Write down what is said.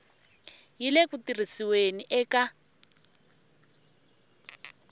yi le ku tirhisiweni eka